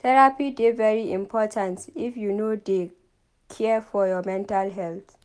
Therapy dey very important if you dey care for your mental healt.